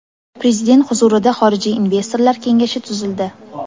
Prezident huzurida xorijiy investorlar kengashi tuzildi.